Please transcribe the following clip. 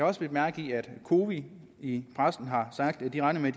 også bidt mærke i at cowi i pressen har sagt at de regner med